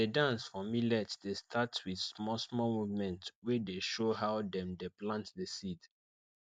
the dance for millet dey start with small small movement wey dey show how dem dey plant the seed